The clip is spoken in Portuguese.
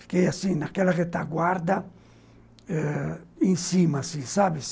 Fiquei, assim, naquela retaguarda ãh, em cima, assim, sabe?